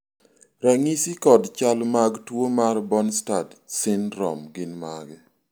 ranyisi kod chal mag tuo mar Bjornstad syndrome gin mage?